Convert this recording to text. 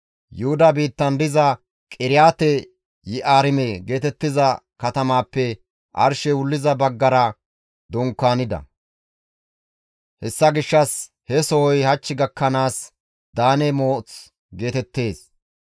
Yuhuda biittan diza Qiriyaate-Yi7aarime geetettiza katamaappe arshey wulliza baggara dunkaanida; hessa gishshas he sohoy hach gakkanaas Daane Mooth geetettees.